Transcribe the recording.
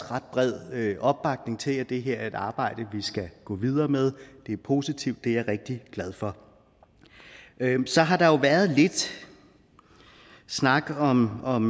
ret bred opbakning til at det her er et arbejde vi skal gå videre med det er positivt det er jeg rigtig glad for så har der jo været lidt snak om om